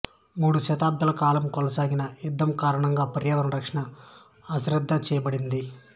మూడుదశాబ్ధాల కాలం కొనసాగిన యుద్ధం కారణంగా పర్యావరణ రక్షణ అశ్రద్ధ చేయబడింది